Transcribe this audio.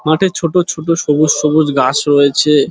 মাঠে ছোট ছোট সবুজ সবুজ ঘাস রয়েছে।